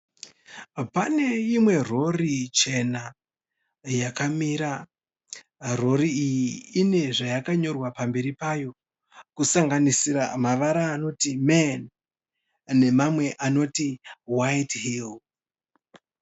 Pane imwe rori chena yakamira. Rori iyi ine zvayakanyorwa pamberi payo kusanganisira mavara anoti "men' nemamwe anoti "white hill'.